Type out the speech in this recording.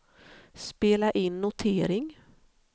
spela in notering